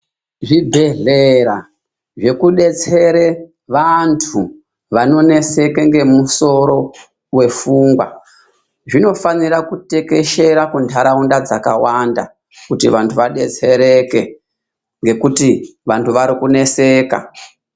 Zvibhedhlera zvekudetsere vantu, vanoneseke ngemusoro wefungwa zvinofaanira kutekeshera kuntaraunda dzakawanda kuti vantu vadetsereke ngekuti vantu vari kuneseka .